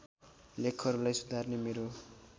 लेखहरूलाई सुधार्न मेरो